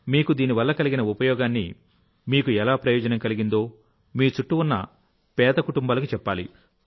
మీకు దీని వల్ల కలిగిన ఉపయోగాన్ని మీకు ఎలా ప్రయోజనం కలిగిందో మీ చుట్టూ ఉన్న పేద కుటుంబాలకు చెప్పాలి